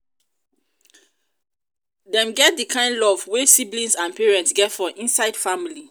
dem get di kind love wey siblings and parents get for inside family